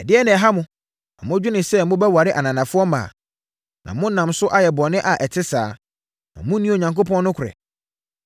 Ɛdeɛn na ɛha mo ma modwene sɛ mobɛware ananafoɔ mmaa, na monam so ayɛ bɔne a ɛte saa, na monni Onyankopɔn nokorɛ?